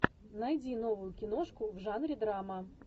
найди новую киношку в жанре драма